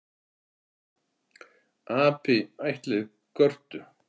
Api ættleiðir körtu